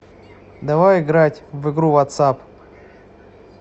давай играть в игру ватсап